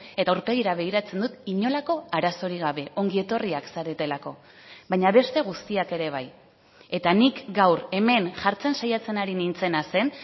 eta aurpegira begiratzen dut inolako arazorik gabe ongi etorriak zaretelako baina beste guztiak ere bai eta nik gaur hemen jartzen saiatzen ari nintzena zen